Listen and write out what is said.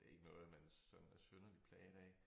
Men det ikke noget man sådan er synderligt plaget af